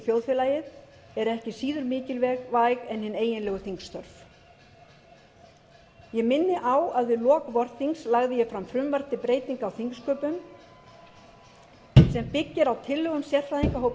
þjóðfélagið eru ekki síður mikilvæg en hin eiginlegu þingstörf ég minni á að við lok vorþings lagði ég fram frumvarp til breytinga á þingsköpum sem byggir á tillögum sérfræðingahóps